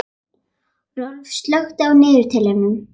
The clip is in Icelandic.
Rolf, slökktu á niðurteljaranum.